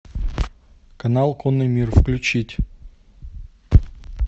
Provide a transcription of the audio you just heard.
канал конный мир включить